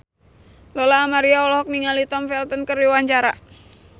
Lola Amaria olohok ningali Tom Felton keur diwawancara